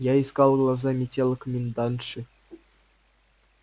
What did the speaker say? я искал глазами тела комендантши